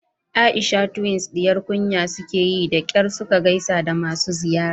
Aisha twins diyar kunya sukeyi da kyar suka gaisa da masu ziyara